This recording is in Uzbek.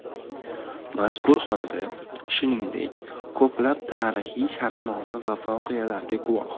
Mazkur xonada, shuningdek, ko‘plab tarixiy shartnoma va voqealarga guvoh.